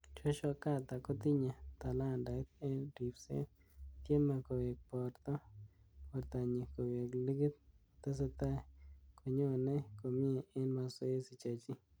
�Joshua Carter kotinye talantait eng ribset ,tieme kowek borto nyi koweek ligit , tesetai konyonei komnye end mazoezi chechik.